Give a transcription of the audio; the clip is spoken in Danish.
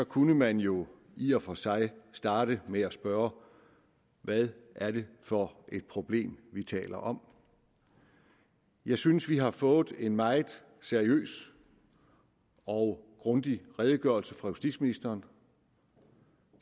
kunne man jo i og for sig starte med at spørge hvad er det for et problem vi taler om jeg synes vi har fået en meget seriøs og grundig redegørelse fra justitsministeren